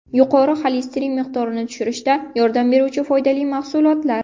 Yuqori xolesterin miqdorini tushirishda yordam beruvchi foydali mahsulotlar.